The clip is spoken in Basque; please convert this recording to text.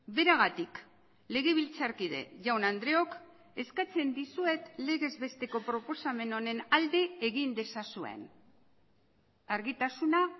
beragatik legebiltzarkide jaun andreok eskatzen dizuet legez besteko proposamen honen alde egin dezazuen argitasuna